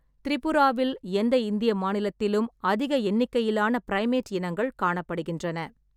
திரிபுராவில் எந்த இந்திய மாநிலத்திலும் அதிக எண்ணிக்கையிலான ப்ரைமேட் இனங்கள் காணப்படுகின்றன.